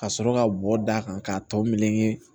Ka sɔrɔ ka bɔ da kan k'a tɔ meleke